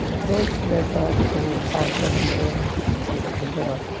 Estreito da Borja, no bairro